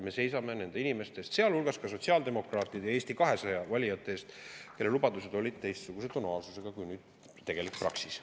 Me seisame inimeste eest, sealhulgas ka sotsiaaldemokraatide ja Eesti 200 valijate eest, kelle lubadused olid teistsuguse tonaalsusega kui nüüd tegelik praksis.